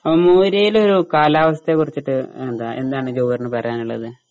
ആ മോര്യേലൊരു കാലാവസ്ഥയെക്കുറിച്ചിട്ട് എന്താ എന്താണ് ജവഹർന് പറയാനിള്ളത്?